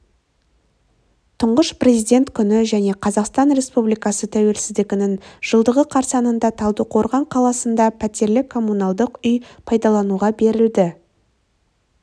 тұңғыш президент күні және қазақстан республикасы тәуелсіздігінің жылдығы қарсаңында талдықорған қаласында пәтерлі коммуналдық үй пайдалануға берілді